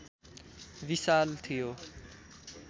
विशाल थियो